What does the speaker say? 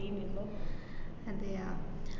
ഇനിപ്പം അതെയാ?